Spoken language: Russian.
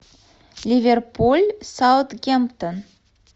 ливерпуль саутгемптон